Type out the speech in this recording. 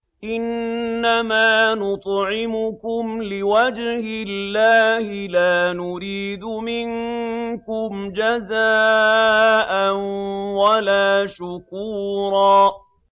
إِنَّمَا نُطْعِمُكُمْ لِوَجْهِ اللَّهِ لَا نُرِيدُ مِنكُمْ جَزَاءً وَلَا شُكُورًا